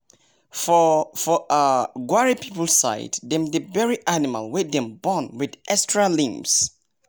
frog nah cleansing spirit and dem dey show for land rituals